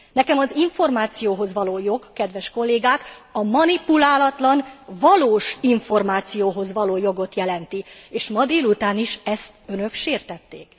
Nekem az információhoz való jog, kedves kollégák, a manipulálatlan, valós információhoz való jogot jelenti, és ma délután is Önök ezt sértették.